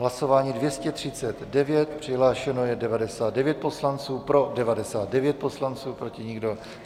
Hlasování 239, přihlášeno je 99 poslanců, pro 99 poslanců, proti nikdo.